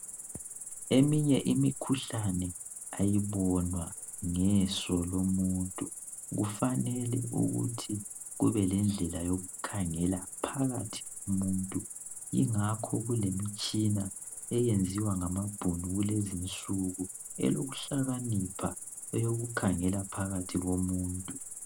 Eminye imkhuhlane ayibonwa ngeso lomuntu kufanele ukuthi kube lendlela yokukhangela phakathi komuntu ingakho kulemitshina eyenziwa ngamabhunu kulezinsuku elokuhlakanipha eyokukhangela phakathi komuntu.